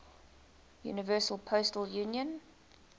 universal postal union